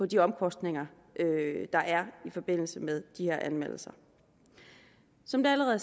de omkostninger der er i forbindelse med de her anmeldelser som det allerede